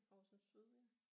Horsens syd ja